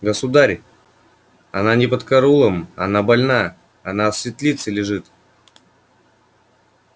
государь она не под караулом она больна она в светлице лежит